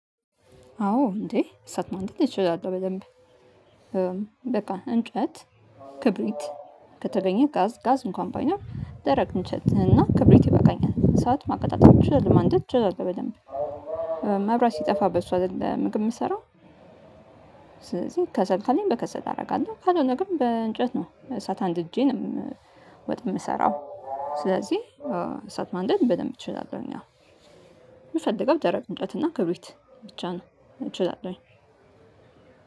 አዎ እንዴ እሳት ማንደድ እችላለሁ በደንብ። በቃ እንጨት ክብሪት ከተገኘ ጋዝ ጋዝ እንኳን ባይኖር ደረቅ እንችል እና ክብሪት ይበቃኛል እሰት ማቀጣጠል እችላለሁ ማንደድ እችላለው በደንብ። መብራት ሲጠፋ በሱ አይደል ምግብ የምሰራው። ስለዚህ ከሰልካሌን በከሰት አደርጋለሁ ካልሆነ ግን በእንጨት ነው እሳት አንድ እጄንም ወጥ የምሰራው ስለዚህ እሳት ማንደድ በደንብ እችላለሁ። ያው የምፈልገው ደረቅ እንጨት እና ክብሪት ብቻ ነው። አይችልም